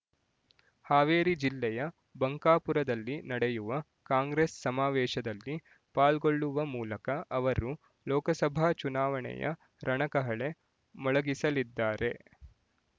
ಹಾವೇರಿ ಜಿಲ್ಲೆಯ ಬಂಕಾಪುರದಲ್ಲಿ ನ‌ಡೆಯುವ ಕಾಂಗ್ರೆಸ್ ಸಮಾವೇಶದಲ್ಲಿ ಪಾಲ್ಗೊಳ್ಳುವ ಮೂಲಕ ಅವರು ಲೋಕಸಭಾ ಚುನಾವಣೆಯ ರಣಕಹಳೆ ಮೊಳಗಿಸಲಿದ್ದಾರೆ